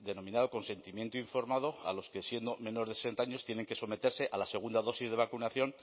denominado consentimiento informado a los que siendo menores de sesenta años tienen que someterse a la segunda dosis de vacunación